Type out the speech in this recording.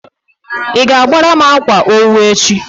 ị ga-agbara m akwa owu echi?